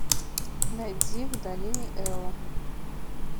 найди в долине эла